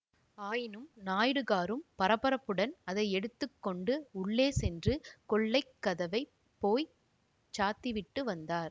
ஆயினும் நாயுடுகாரும் பரபரப்புடன் அதை எடுத்து கொண்டு உள்ளே சென்று கொல்லைக் கதவை போய் சாத்திவிட்டு வந்தார்